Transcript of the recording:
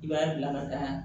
I b'a bila ka taa